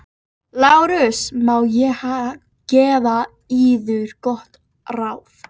LÁRUS: Má ég gefa yður gott ráð?